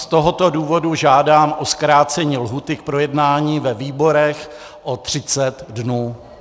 Z tohoto důvodu žádám o zkrácení lhůty k projednání ve výborech o 30 dnů.